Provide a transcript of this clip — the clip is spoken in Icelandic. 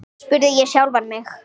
spurði ég sjálfan mig.